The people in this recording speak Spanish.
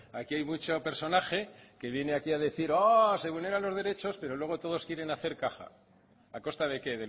aquí hay mucho personaje que viene aquí a decir que se vulneran los derechos pero luego todos quieren hacer caja a costa de qué